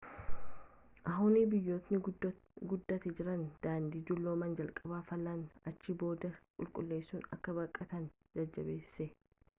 hu'n biyyootni guddataa jiran daandii dulloomaa jalqaba faalanii achiin booda qulqulleessuu akka baqatan jajjabeesse